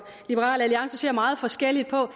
liberal alliance ser meget forskelligt på